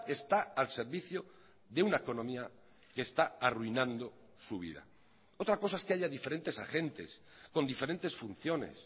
está al servicio de una economía que está arruinando su vida otra cosa es que haya diferentes agentes con diferentes funciones